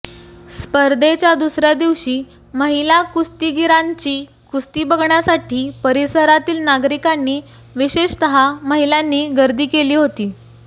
स्पर्धेच्या दुसऱ्या दिवशी महिला कुस्तीगिरांची कुस्ती बघण्यासाठी परिसरातील नागरिकांनी विशेषतः महिलांनी गर्दी केली होती